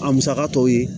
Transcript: A musaka tɔw ye